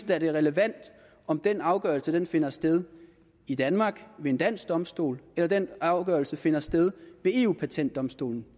da at det er relevant om den afgørelse finder sted i danmark ved en dansk domstol eller den afgørelse finder sted ved eu patentdomstolen